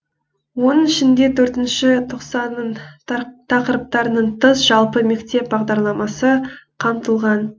оның ішінде төртінші тоқсанның тақырыптарынан тыс жалпы мектеп бағдарламасы қамтылған